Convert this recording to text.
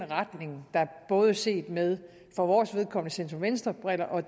retning der både set med for vores vedkommende centrum venstre briller og